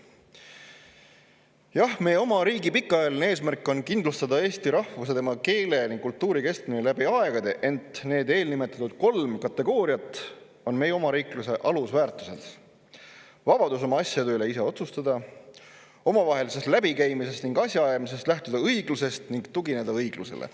Jah, meie oma riigi pikaajaline eesmärk on kindlustada eesti rahvuse, keele ja kultuuri kestmine läbi aegade, ent need eelnimetatud kolm kategooriat on meie omariikluse alusväärtused: vabadus oma asjade üle ise otsustada, omavahelises läbikäimises ning asjaajamises lähtuda õiglusest ning tugineda õigusele.